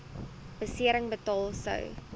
besering betaal sou